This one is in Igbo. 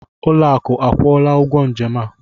Ụlọakụ akwụọla ụgwọ njem a?